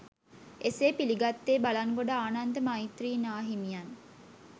එසේ පිළිගත්තේ බලංගොඩ ආනන්ද මෛත්‍රී නාහිමියන්